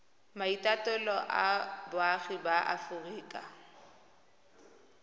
maitatolo a boagi ba aforika